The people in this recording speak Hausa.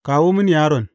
Kawo mini yaron.